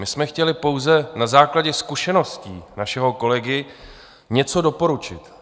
My jsme chtěli pouze na základě zkušeností našeho kolegy něco doporučit.